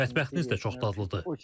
Mətbəxiniz də çox dadlıdır.